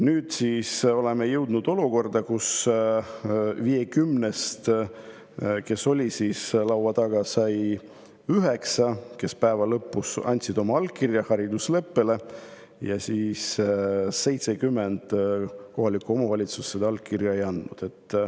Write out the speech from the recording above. Nüüd oleme siis jõudnud olukorrani, kus nendest 50-st, kes olid laua taga, lõpuks 9 andsid oma allkirja haridusleppele ja 70 kohalikku omavalitsust seda allkirja ei andnud.